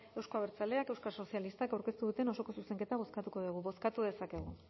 euzko abertzaleak euskal sozialistak aurkeztu duten osoko zuzenketa bozkatuko dugu bozkatu dezakegu